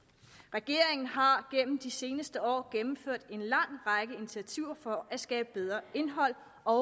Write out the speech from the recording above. regeringen har gennem de seneste år gennemført en lang række initiativer for at skabe bedre indhold og